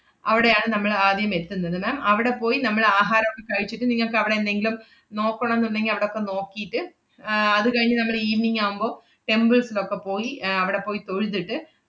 അവടെയാണ് നമ്മളാദ്യം എത്തുന്നത് ma'am അവടെ പോയി നമ്മൾ ആഹാരൊക്കെ കഴിച്ചിട്ട് നിങ്ങക്കവടെ എന്തെങ്കിലും നോക്കണോന്നുണ്ടെങ്കി അവടക്കെ നോക്കിയിട്ട് ആഹ് അത് കഴിഞ്ഞ് നമ്മൾ evening ആവുമ്പോ, temples ലൊക്കെ പോയി ഏർ അവടെ പോയി തൊഴുതിട്ട്,